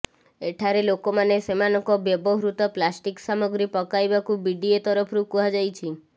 ଏଠାରେ ଲୋକମାନେ ସେମାନଙ୍କ ବ୍ୟବହୃତ ପ୍ଲାଷ୍ଟିକ ସାମଗ୍ରୀ ପକାଇବାକୁ ବିଡିଏ ତରଫରୁ କୁହାଯାଇଛି